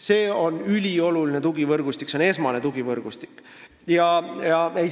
See on ülioluline ja esmane tugivõrgustik.